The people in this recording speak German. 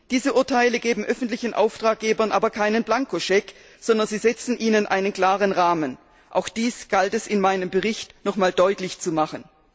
Diese Urteile geben öffentlichen Auftraggebern aber keinen Blankoscheck, sondern sie setzen ihnen einen klaren Rahmen. Auch dies galt es in meinem Bericht nochmals deutlich zu machen.